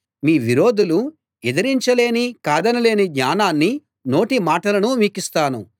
మీ విరోధులు ఎదిరించలేని కాదనలేని జ్ఞానాన్నీ నోటిమాటలనూ మీకిస్తాను